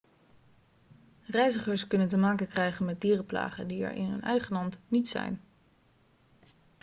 reizigers kunnen te maken krijgen met dierenplagen die er in hun eigen land niet zijn